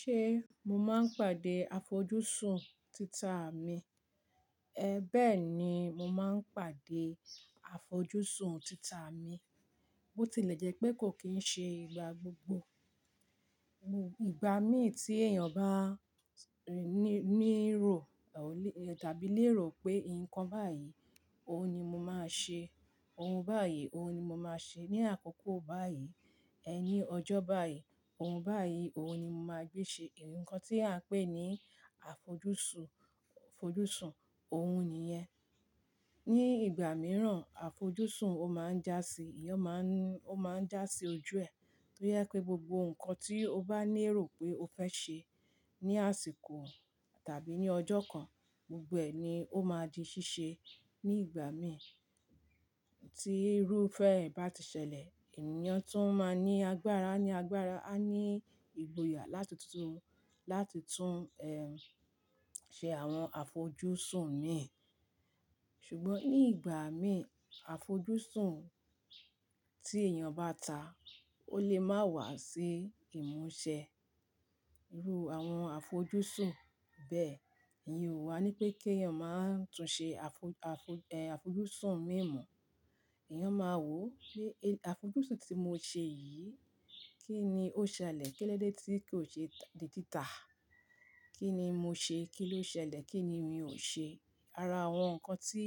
Ṣe mo máa ń pàdé àfojúsùn tita mi? Bẹ́ẹ̀ ni mo máa ń pàdé àfojúsùn tita mi. Botilẹjẹ́pe kò kí ń ṣe ìgbà gbogbo. Ìgbà mí tí èèyàn bá ní ìró Tàbí lérò pé nǹkan báyìí, òun ni mo máa ṣe, ohun báyìí, òun ni mo máa ṣe ní àkókò báyìí, ẹ ni ọjọ́ báyìí, òun báyìí, òun ni mo máa gbé ṣe. Ìnǹkan tí à ń pè ní àfojúsùn, òun nìyẹn. Ni ìgbà mìíràn, àfojúsùn máa ń jásí ojú ẹ̀. Boya pé gbogbo ǹkan tí o bá ní èrò pé o fẹ́ ṣe ní àsìkò tàbí ní ọjọ́ kan, gbogbo ẹ̀ ni ó máa di ṣíṣe ní ìgbà mí tí irúfẹ́ ẹ̀ bá ti ṣẹlẹ̀. Èèyàn tó máa ń ní agbára ní agbára, á ní ìgboyà láti tún ṣe àwọn àfojúsùn mi. Ṣùgbọ́n ní ìgbà mí, àfojúsùn tí èèyàn bá ta, ó lè má wà sí ìmúṣẹ. Irú àwọn àfojúsùn bẹ́ẹ̀. Ìyẹn wà ní pé kí èèyàn máa tún ṣe àfojúsùn mí mo. Ẹ̀yàn máa wò pé àfojúsùn tí mo ṣe yìí kí ni ó ṣẹlẹ̀, kílódé tí kò ṣe di títà? Kí ni mo ṣe? Kí ló ṣẹlẹ̀? Kí ni mi ò ṣe? Ara àwọn ǹkan tí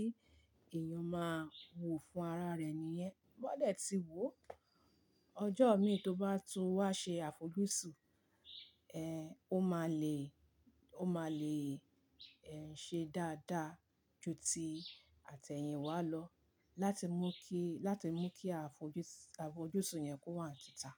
èèyàn máa wò fún ara rẹ̀ nìyẹn. Bó dẹ̀ tí wò ó, ọjọ́ mí tó bá tún wá ṣe àfojúsùn, ó máa lè ṣe dáadáa ju ti àtẹ̀yìn wá lọ láti mú kí àfojúsùn yẹn kó wà ní títà.